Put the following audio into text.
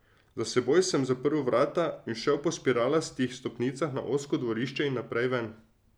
Za seboj sem zaprl vrata in šel po spiralastih stopnicah na ozko dvorišče in naprej ven.